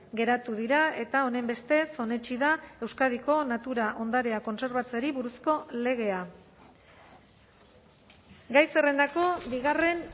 geratu dira eta honenbestez onetsi da euskadiko natura ondarea kontserbatzeari buruzko legea gai zerrendako bigarren